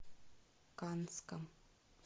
канском